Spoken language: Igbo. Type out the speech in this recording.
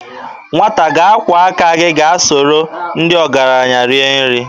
Nwata ga-akwọ aka gị ka i soro ndị ọgaranya rie nri.